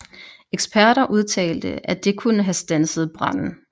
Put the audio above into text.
Eksperter udtalte at det kunne have standset branden